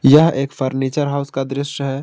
यह एक furniture house का दृश्य है।